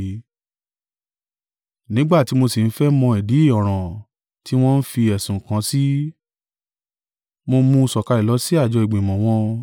Nígbà tí mo sì ń fẹ́ mọ ìdí ọ̀ràn tí wọn fi ẹ̀sùn kàn án sí, mo mú un sọ̀kalẹ̀ lọ sí àjọ ìgbìmọ̀ wọn.